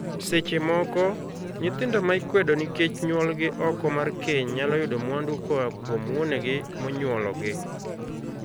Seche moko, nyithindo ma ikwedo nikech nyuolgi oko mar keny nyalo yudo mwandu koa kuom wuonegi monyuologi.